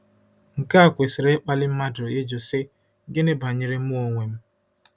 Nke a kwesịrị ịkpali mmadụ ịjụ, sị: ‘Gịnị banyere mụ onwe m?